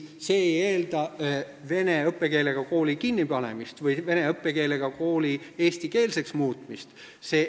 See ei eelda vene õppekeelega kooli kinnipanemist või vene õppekeelega kooli eestikeelseks muutmist.